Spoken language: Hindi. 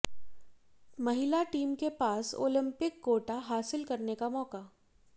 महिला टीम के पास ओलिंपिक कोटा हासिल करने का मौका